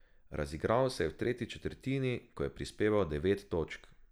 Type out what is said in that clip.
Razigral se je v tretji četrtini, ko je prispeval devet točk.